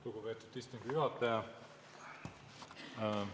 Lugupeetud istungi juhataja!